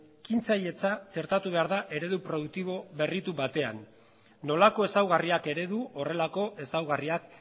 ekintzailetza txertatu behar da eredu produktibo berritu batean nolako ezaugarriak eredu horrelako ezaugarriak